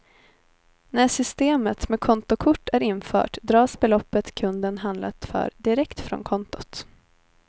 När systemet med kontokort är infört dras beloppet kunden handlat för direkt från kontot.